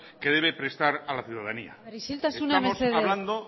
que debe prestar a la ciudadanía isiltasuna mesedez estamos hablando